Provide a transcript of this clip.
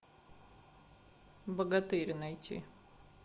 богатырь найти